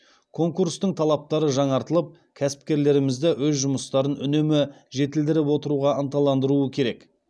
конкурстың талаптары жаңартылып кәсіпкерлерімізді өз жұмыстарын үнемі жетілдіріп отыруға ынталандыруы керек